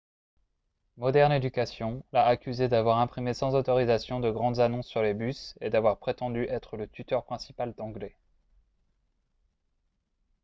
modern education l'a accusé d'avoir imprimé sans autorisation de grandes annonces sur les bus et d'avoir prétendu être le tuteur principal d'anglais